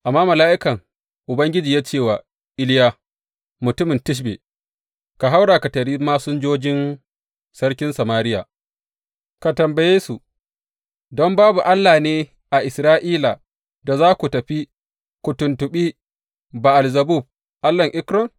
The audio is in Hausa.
Amma mala’ikan Ubangiji ya ce wa Iliya mutumin Tishbe, Ka haura ka taryi masinjojin sarkin Samariya, ka tambaye su, Don babu Allah ne a Isra’ila da za ku tafi ku tuntuɓi Ba’al Zebub allahn Ekron?’